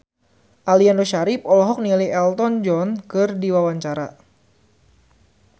Aliando Syarif olohok ningali Elton John keur diwawancara